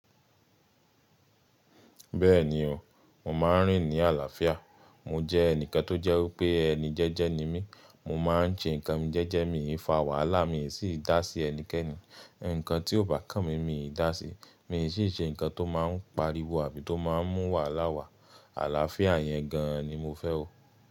Bẹ́ẹ̀ni o, mo máa ń rìn ní àlàáfíà. Mo jẹ́ ẹnìkan tó jẹ́ wipé ẹni jẹ́jẹ́ ni mí. Mo máa ń ṣe nǹkan mi jẹ́jẹ́, mi i fà wàhálà, mi i sí dá sí ẹnikẹ́ni. Ǹnkan tí ò bá kàn mí, mi i dá sí. Mi i sí ṣe nǹkan tó máa ń pariwo àbí tó máa ń mú wàhálà wá. Àlàáfíà yẹn gan ni mo fẹ́ o.